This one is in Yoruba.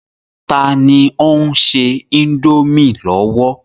Tani ó ń se indomie lọ́wọ́?